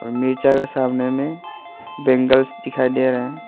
मिर्चा का सामने में बैंगल्स दिखाई दे रहे हैं।